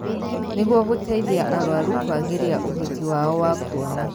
Nĩguo gũteithia arũaru kwagĩria ũhoti wao wa kuona